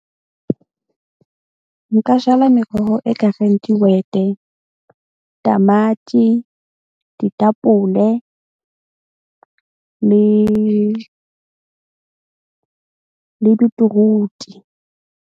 Nka jala meroho e kareng dihwete, tamati, ditapole le le beetroot-i.